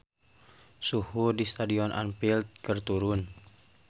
Suhu di Stadion Anfield keur turun